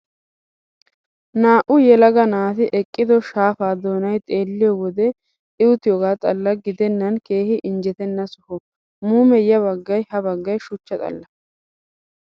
Naa''u yelagaa naati eqqido shaapaa doonayi xeelliyoo wode iituoogaa xalla gidennan keehi injjetenna soho. Muume yabaggayi ha baggayi shuchcha xalla.